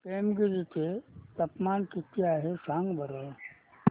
पेमगिरी चे तापमान किती आहे सांगा बरं